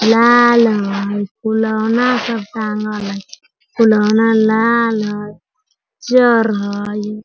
लाल हई फुलोना सब टांगल हई फुलोना लाल हई चर हई।